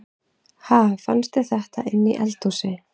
Ha! Fannstu þetta inni í eldhúsi?